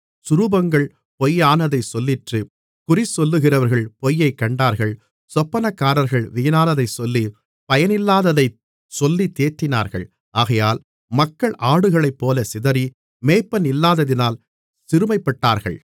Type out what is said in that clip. சுரூபங்கள் பொய்யானதைச் சொல்லிற்று குறிசொல்லுகிறவர்கள் பொய்யை கண்டார்கள் சொப்பனக்காரர்கள் வீணானதைச் சொல்லி பயனில்லாததைச் சொல்லி தேற்றினார்கள் ஆகையால் மக்கள் ஆடுகளைப்போல சிதறி மேய்ப்பனில்லாததினால் சிறுமைப்பட்டார்கள்